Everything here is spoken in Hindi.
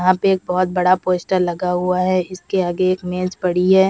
वहाँ पे एक बहोत बड़ा पोस्टर लगा हुआ है। इसके आगे एक मेज पड़ी है।